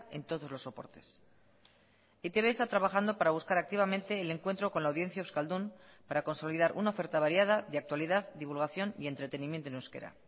en todos los soportes e i te be está trabajando para buscar activamente el encuentro con la audiencia euskaldun para consolidar una oferta variada de actualidad divulgación y entretenimiento en euskera